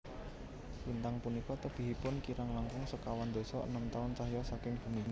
Lintang punika tebihipun kirang langkung sekawan dasa enem taun cahya saking bumi